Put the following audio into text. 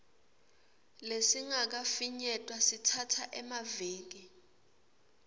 lesingakafinyetwa sitsatsa emaviki